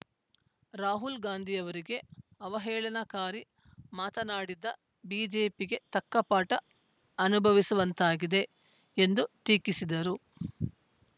ರಾಹುಲ್‌ ಗಾಂಧಿಯವರಿಗೆ ಅವಹೇಳನಕಾರಿ ಮಾತನಾಡಿದ್ದ ಬಿಜೆಪಿಗೆ ತಕ್ಕಪಾಠ ಅನುಭವಿಸುವಂತಾಗಿದೆ ಎಂದು ಟೀಕಿಸಿದರು